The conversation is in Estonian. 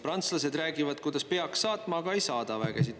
Prantslased räägivad, kuidas peaks saatma, aga ei saada vägesid.